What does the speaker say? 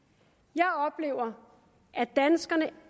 jeg oplever at danskerne